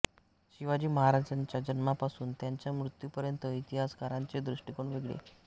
शिवाजी महाराजांच्या जन्मापासून त्यांच्या मृत्यूपर्यंत इतिहासकारांचे दृष्टिकोन वेगळे